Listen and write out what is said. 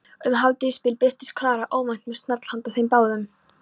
Um hádegisbil birtist Klara óvænt með snarl handa þeim báðum.